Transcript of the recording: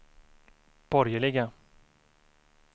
borgerliga